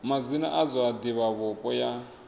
madzina a zwa divhavhupo ya